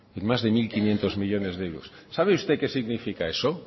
en más de mil quinientos millónes de euros sabe usted qué significa eso